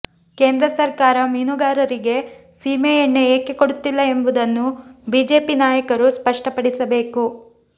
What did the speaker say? ಕೇಂದ್ರ ಸರ್ಕಾರ ಮೀನುಗಾರರಿಗೆ ಸೀಮೆಎಣ್ಣೆ ಏಕೆ ಕೊಡುತ್ತಿಲ್ಲ ಎಂಬುದನ್ನು ಬಿಜೆಪಿ ನಾಯಕರು ಸ್ಪಷ್ಟಪಡಿಸಬೇಕು